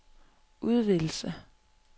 udvidelse